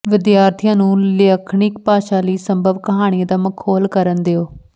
ਵਿਦਿਆਰਥੀਆਂ ਨੂੰ ਲਾਖਣਿਕ ਭਾਸ਼ਾ ਲਈ ਸੰਭਵ ਕਹਾਣੀਆਂ ਦਾ ਮਖੌਲ ਕਰਨ ਦਿਉ